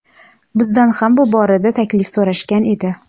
Bizdan ham bu borada taklif so‘rashgan edi.